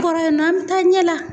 Kɔrɔ yan an be taa ɲɛ la.